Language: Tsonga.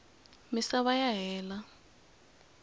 misava ya hela